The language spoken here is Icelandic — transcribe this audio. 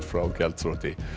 frá gjaldþroti